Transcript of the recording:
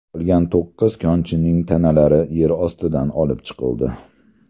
Qolgan to‘qqiz konchining tanalari yer ostidan olib chiqildi.